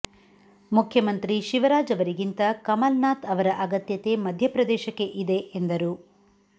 ಮುಖ್ಯಮಂತ್ರಿ ಶಿವರಾಜ್ ಅವರಿಗಿಂತ ಕಮಲ್ ನಾಥ್ ಅವರ ಅಗತ್ಯತೆ ಮಧ್ಯಪ್ರದೇಶಕ್ಕೆ ಇದೆ ಎಂದರು